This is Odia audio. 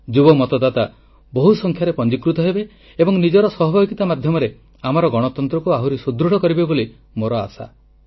ଯୁବ ମତଦାତା ବହୁ ସଂଖ୍ୟାରେ ପଞ୍ଜୀକୃତ ହେବେ ଏବଂ ନିଜର ସହଭାଗିତା ମାଧ୍ୟମରେ ଆମର ଗଣତନ୍ତ୍ରକୁ ଆହୁରି ସୁଦୃଢ଼ କରିବେ ବୋଲି ମୋର ଆଶା